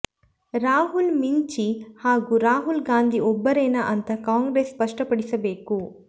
ರಾಹುಲ್ ಮಿಂಚಿ ಹಾಗೂ ರಾಹುಲ್ ಗಾಂಧಿ ಒಬ್ಬರೇನಾ ಅಂತ ಕಾಂಗ್ರೆಸ್ ಸ್ಪಷ್ಟಪಡಿಸಬೇಕು